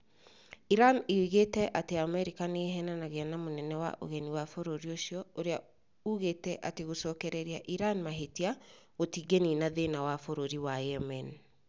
Iran ĩigĩte atĩ Amerika nĩ 'ĩheenanagia na mũnene wa Ũgeni wa bũrũri ũcio ũrĩa ugĩte atĩ "gũcokereria Iran mahĩtia gũtingĩniina thĩna" bũrũrri wa Yemen.